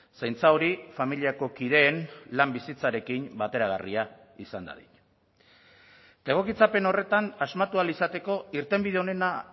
zaintza hori familiako kideen lan bizitzarekin bateragarria izan dadin eta egokitzapen horretan asmatu ahal izateko irtenbide onena